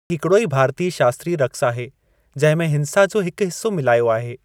ही हिकड़ो ई भारतीय शास्त्रीय रक़्स आहे जंहिंमें हिंसा जो हिकु हिस्सो मिलायो आहे।